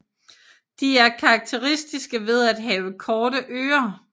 De er karakteristiske ved at have korte ører